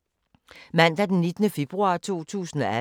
Mandag d. 19. februar 2018